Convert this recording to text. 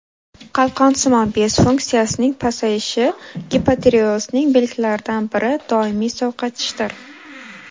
Qalqonsimon bez funksiyasining pasayishi gipotireozning belgilaridan biri doimiy sovqotishdir.